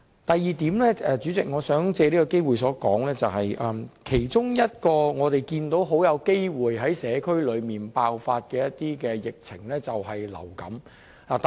第二點，主席，我想藉這個機會表示，我們看到其中一個很大機會在社區爆發的疫情，就是流感。